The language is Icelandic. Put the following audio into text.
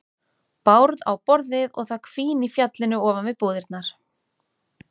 Bárð á borðið og það hvín í fjallinu ofan við búðirnar.